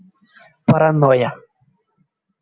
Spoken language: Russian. паранойя